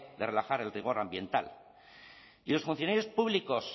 de relajar el rigor ambiental y los funcionarios públicos